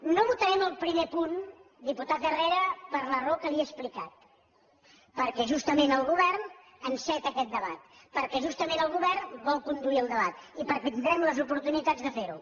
no votarem el primer punt diputat herrera per la raó que li he explicat perquè justament el govern enceta aquest debat perquè justament el govern vol conduir el debat i perquè tindrem les oportunitats de fer ho